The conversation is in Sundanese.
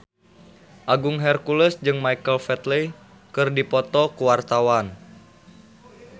Agung Hercules jeung Michael Flatley keur dipoto ku wartawan